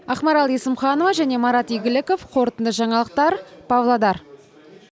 ақмарал есімханова және марат игіліков қорытынды жаңалықтар павлодар